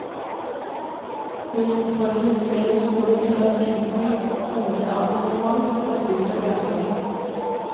Hun oppfordrer flere skoler til å tilby ungene abonnement på frukt og grønnsaker.